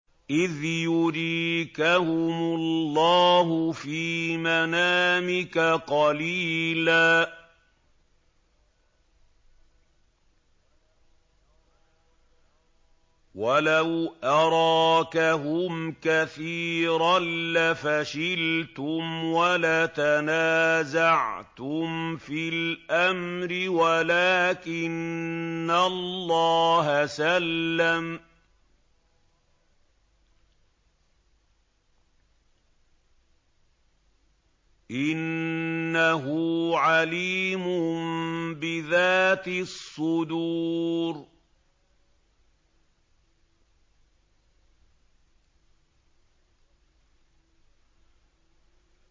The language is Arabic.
إِذْ يُرِيكَهُمُ اللَّهُ فِي مَنَامِكَ قَلِيلًا ۖ وَلَوْ أَرَاكَهُمْ كَثِيرًا لَّفَشِلْتُمْ وَلَتَنَازَعْتُمْ فِي الْأَمْرِ وَلَٰكِنَّ اللَّهَ سَلَّمَ ۗ إِنَّهُ عَلِيمٌ بِذَاتِ الصُّدُورِ